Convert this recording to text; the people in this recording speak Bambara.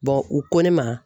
u ko ne ma